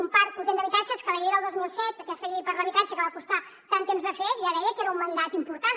un parc potent d’habitatges que la llei del dos mil set aquesta llei per a l’habitatge que va costar tant temps de fer ja deia que era un mandat important